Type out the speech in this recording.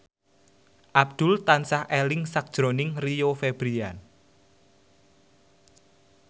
Abdul tansah eling sakjroning Rio Febrian